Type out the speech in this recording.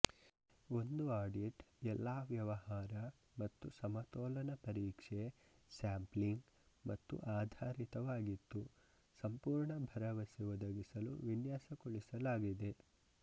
ಒಂದು ಆಡಿಟ್ ಎಲ್ಲಾ ವ್ಯವಹಾರ ಮತ್ತು ಸಮತೋಲನ ಪರೀಕ್ಷೆ ಸ್ಯಾಂಪ್ಲಿಂಗ್ ಮತ್ತು ಆಧಾರಿತವಾಗಿತ್ತು ಸಂಪೂರ್ಣ ಭರವಸೆ ಒದಗಿಸಲು ವಿನ್ಯಾಸಗೊಳಿಸಿದೆ